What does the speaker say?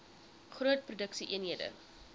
groot produksie eenhede